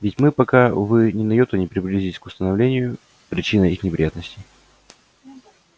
ведь мы пока увы ни на йоту не приблизились к установлению причины их неприятностей